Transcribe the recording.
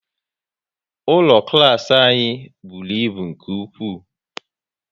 Ụlọ klas anyị bụrụ ịbụ nke ụkwụ